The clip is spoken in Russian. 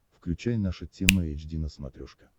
включай наша тема эйч ди на смотрешке